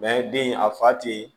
den a fa te ye